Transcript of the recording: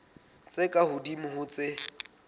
tse ka hodimo ho tse